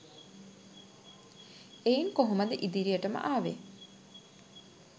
එයින් කොහොමද ඉදිරියටම ආවේ